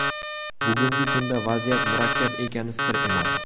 Bugungi kunda vaziyat murakkab ekani sir emas.